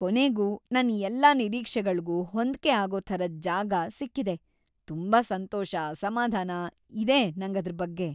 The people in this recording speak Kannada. ಕೊನೆಗೂ ನನ್ ಎಲ್ಲಾ ನಿರೀಕ್ಷೆಗಳ್ಗೂ ಹೊಂದ್ಕೆ ಆಗೋ ಥರದ್‌ ಜಾಗ ಸಿಕ್ಕಿದೆ, ತುಂಬಾ ಸಂತೋಷ, ಸಮಾಧಾನ ಇದೆ ನಂಗದ್ರ್‌ ಬಗ್ಗೆ.